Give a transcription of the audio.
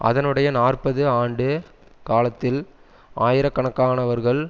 அதனுடைய நாற்பது ஆண்டு காலத்தில் ஆயிர கணக்கானவர்கள்